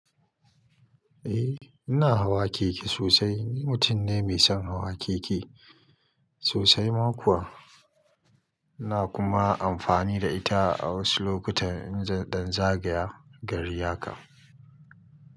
Eh ina hawa keke sosai. Ni mutum ne mai son hawa keke sosai ma kuwa. iNa kuma amfani da ita a wasu lokutan in zan dan zagaya gari haka.